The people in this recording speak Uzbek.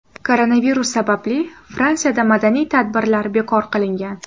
Koronavirus sababli Fransiyada madaniy tadbirlar bekor qilingan.